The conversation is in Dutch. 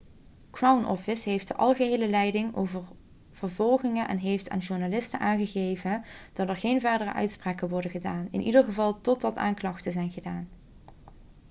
crown office heeft de algehele leiding over vervolgingen en heeft aan journalisten aangegeven dat er geen verdere uitspraken worden gedaan in ieder geval totdat aanklachten zijn gedaan